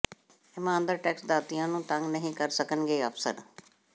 ਇਮਾਨਦਾਰ ਟੈਕਸ ਦਾਤਿਆਂ ਨੂੰ ਤੰਗ ਨਹੀਂ ਕਰ ਸਕਣਗੇ ਅਫਸਰ